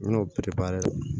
I bɛn'o